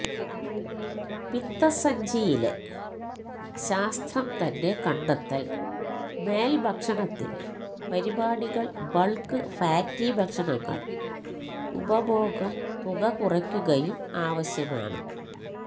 പിത്തസഞ്ചി ലെ ശാസ്ത്രം തന്നെ കണ്ടെത്തൽ മേൽ ഭക്ഷണത്തിൽ പരിപാടികൾ ബൾക്ക് ഫാറ്റി ഭക്ഷണങ്ങൾ ഉപഭോഗം തുക കുറയ്ക്കുകയും ആവശ്യമാണ്